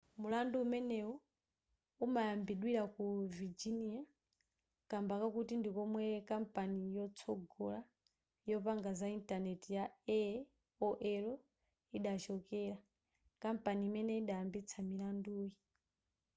mulandu umeneyu umayimbidwira ku virginia kamba kakuti ndikomwe kampani yotsogola yopanga za intaneti ya aol idachokera kampani imene idayambitsa milanduyi